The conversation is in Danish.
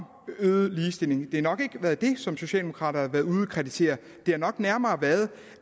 øget ligestilling det har nok ikke været det som socialdemokrater har været ude at kritisere det har nok nærmere været